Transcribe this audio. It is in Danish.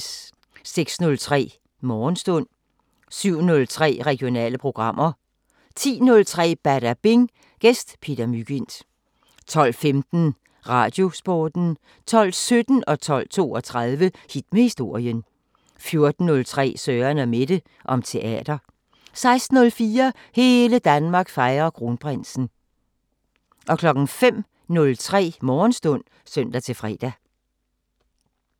06:03: Morgenstund 07:03: Regionale programmer 10:03: Badabing: Gæst Peter Mygind 12:15: Radiosporten 12:17: Hit med historien 12:32: Hit med historien 14:03: Søren & Mette: Om teater 16:04: Hele Danmark fejrer Kronprinsen 05:03: Morgenstund (søn-fre)